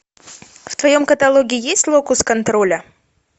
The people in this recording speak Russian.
в твоем каталоге есть локус контроля